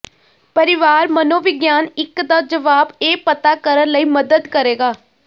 ਪਰਿਵਾਰ ਮਨੋਵਿਗਿਆਨ ਇੱਕ ਦਾ ਜਵਾਬ ਇਹ ਪਤਾ ਕਰਨ ਲਈ ਮਦਦ ਕਰੇਗਾ